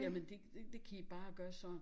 Jamen det det kan i bare gøre sådan